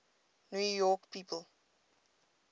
new york people